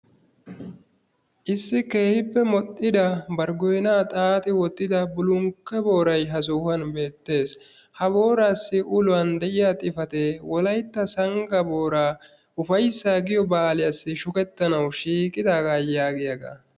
Issi keehippe modhdhida bari goynaa xaaxi wottida bullukka boorayi ha sohuwan beettes. Ha booraassi uluwan de"iya xifatee wolaytta sangga booraa ufayssa giyo baaliyassi shukettanawu shiiqidaaga yaagiyaga.